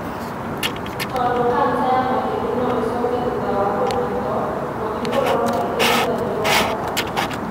Tondũ kanca ya mahĩndĩ no ĩcoke thutha wa kũrigitwo, gũthiĩ kũrorwo kaingĩ thutha nĩ gwa bata.